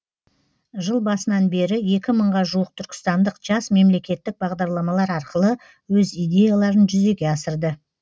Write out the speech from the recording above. жыл басынан бері екі мыңға жуық түркістандық жас мемлекеттік бағдарламалар арқылы өз идеяларын жүзеге асырды